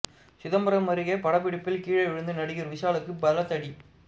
சிதம்பரம் அருகே படபிடிப்பில் கீழே விழுந்து நடிகர் விஷாலுக்கு பலத்த அடி